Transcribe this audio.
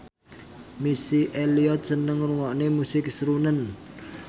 Missy Elliott seneng ngrungokne musik srunen